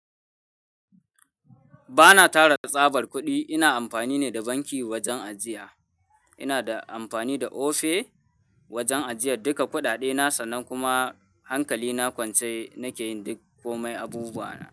Bana tara tsabar kuɗi, ina amfani ne da banki wajen ajiya. Ina da amfani da Ofe wajen ajiyar duka kuɗaɗe na sannan kuma hankali na kwance nake yin duk kome abubuwa na.